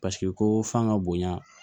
Paseke ko fan ka bonya